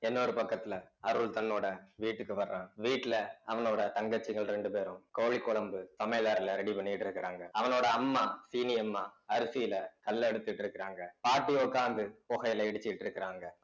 இன்னொரு பக்கத்துல அருள் தன்னோட வீட்டுக்கு வர்றான் வீட்டுல அவனோட தங்கச்சிகள் ரெண்டு பேரும் கோழி குழம்பு சமையல் அறையில ready பண்ணிட்டு இருக்கறாங்க அவனோட அம்மா சீனி அம்மா அரிசியில கல் எடுத்துட்டிருக்கிறாங்க பாட்டி உட்கார்ந்து புகையிலை இடிச்சுட்டு இருக்காங்க